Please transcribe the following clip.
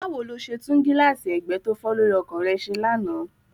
Báwo lo ṣe tún gíláàsì ẹgbẹ́ tó fọ́ lórí ọkọ̀ rẹ ṣe lánàá?